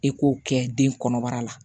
E k'o kɛ den kɔnɔbara la